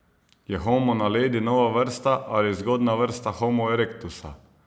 Je homo naledi nova vrsta ali zgodnja vrsta homo erektusa?